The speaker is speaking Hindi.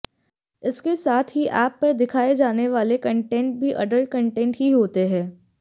इसके साथ ही एप पर दिखाए जाने वाले कंटेंट भी एडल्ट कंटेंट ही होते हैं